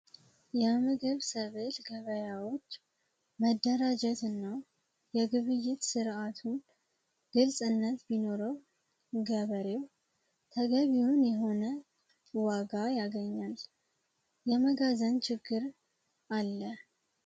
የምግብ ሰበል ገበያዎች መደራጀት እና የግብይት ሥርዓቱን ግልፅ እነት ቢኖረው ገበሬው ተገቢውን የሆነ ዋጋ ያገኛል። የመጋዘን ችግር አለ።